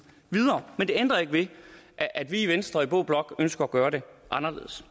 videre men det ændrer ikke ved at vi i venstre og i blå blok ønsker at gøre det anderledes